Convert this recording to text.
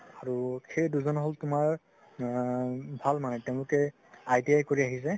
আৰু সেই দুজন হল তুমাৰ উমম ভাল মানে তেওঁলোকে ITI কৰি আহিছে